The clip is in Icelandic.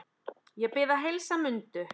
Ég bið að heilsa Mundu.